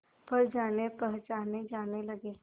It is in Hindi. पर जानेपहचाने जाने लगे